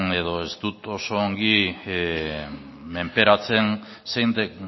edo ez dut oso ongi menperatzen zein den